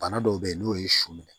Bana dɔw be yen n'o ye su minɛ